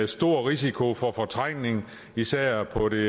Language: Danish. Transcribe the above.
stor risiko for fortrængning især på det